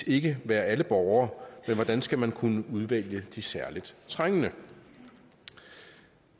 ikke være alle borgere men hvordan skulle man kunne udvælge de særligt trængende